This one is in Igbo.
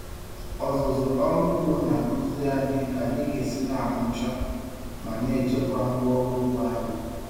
Ọzụzụ ọrụ ugbo na-akụziri anyị ka anyị ga-esi na-amụcha ma na-echekwa ngwa ọrụ ugbo anyị.